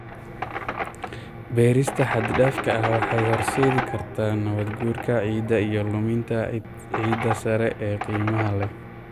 Beerista xad-dhaafka ah waxay horseedi kartaa nabaad-guurka ciidda iyo luminta ciidda sare ee qiimaha leh.